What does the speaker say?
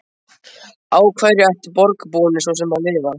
Á hverju ættu borgarbúarnir svo sem að lifa?